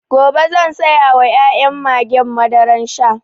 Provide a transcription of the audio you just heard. Gobe zan sayawa ƴaƴan mage madaran sha